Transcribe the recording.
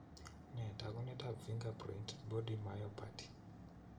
Nee taakunetaab Fingerprint body myopathy?